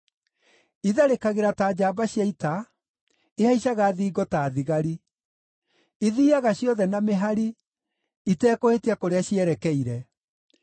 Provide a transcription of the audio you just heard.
Itharĩkagĩra ta njamba cia ita; ihaicaga thingo ta thigari. Ithiiaga ciothe na mĩhari, itekũhĩtia kũrĩa cierekeire.